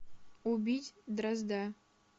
убить дрозда